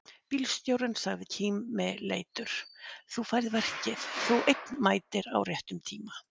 Bílstjórinn sagði kímileitur: Þú færð verkið, þú einn mætir á réttum tíma!